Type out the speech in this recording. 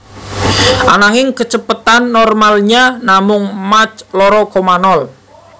Ananging kecepatan normalnya namung mach loro koma nol